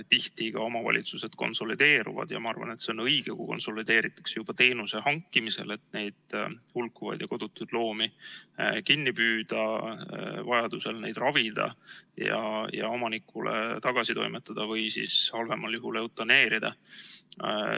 Tihti ka omavalitsused konsolideeruvad ja ma arvan, et see on õige, kui konsolideerutakse juba teenuse hankimisel, et neid hulkuvaid ja kodutuid loomi kinni püüda, vajadusel neid ravida ja omanikule tagasi toimetada või halvemal juhul eutaneerida.